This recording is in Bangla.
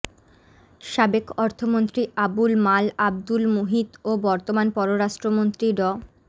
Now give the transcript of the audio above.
সাবেক অর্থমন্ত্রী আবুল মাল আবদুল মুহিত ও বর্তমান পররাষ্ট্রমন্ত্রী ড